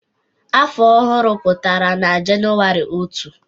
Afọ ọhụrụ pụtara na Jenụwarị otu.